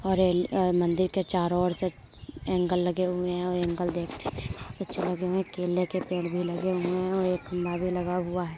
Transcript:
और ऐ अ-मंदिर के चारो ओर से एंगल लागे हुए है ओर एंगल देखने में बहुत अच्छे लगे हुए हैं। केले के पेड़ भी लगे हुए हैं और एक खंभा भी लगा हुआ है।